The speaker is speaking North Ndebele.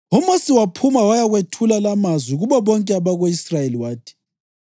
UMosi waphuma wayakwethula lamazwi kubo bonke abako-Israyeli wathi: